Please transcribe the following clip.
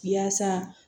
Yaasa